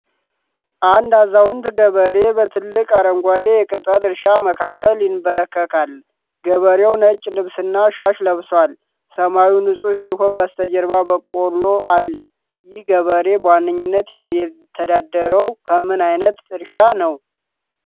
አንድ አዛውንት ገበሬ በትልቅ አረንጓዴ የቅጠል እርሻ መካከል ይንበረከካል። ገበሬው ነጭ ልብስና ሻሽ ለብሷል። ሰማዩ ንፁህ ሲሆን በስተጀርባ በቆሎ አለ። ይህ ገበሬ በዋነኝነት የሚተዳደረው ከምን ዓይነት እርሻ ነው?